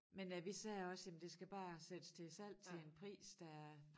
Men øh vi sagde også jamen det skal bare sættes til salg til en pris der